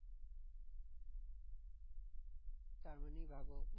তার মানেই ভাবো?